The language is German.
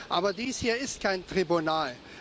Aber dies hier ist kein Tribunal.